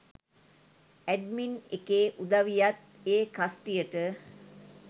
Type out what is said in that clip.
“admin” එකේ උදවියත් ඒ කස්ටියට